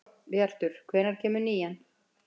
Hróbjartur, hvenær kemur nían?